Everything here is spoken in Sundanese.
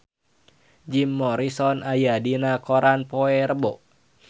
Jim Morrison aya dina koran poe Rebo